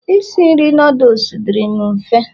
isi nri noodles dịri'm mfe